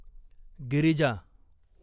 Girija